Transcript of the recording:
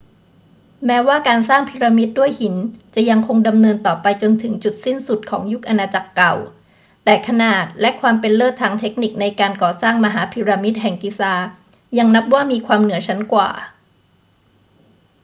แม้ว่าการสร้างพีระมิดด้วยหินจะยังคงดำเนินต่อไปจนถึงจุดสิ้นสุดของยุคอาณาจักรเก่า แต่ขนาดและความเป็นเลิศทางเทคนิคในการก่อสร้างมหาพีระมิดแห่งกิซายังนับว่ามีความเหนือชั้นกว่า